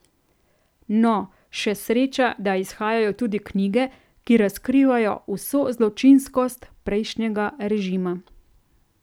No, še sreča, da izhajajo tudi knjige, ki razkrivajo vso zločinskost prejšnjega režima.